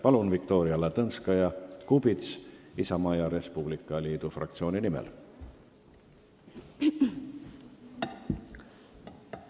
Palun, Viktoria Ladõnskaja-Kubits Isamaa ja Res Publica Liidu fraktsiooni nimel!